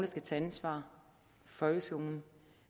skal tage ansvar for folkeskolen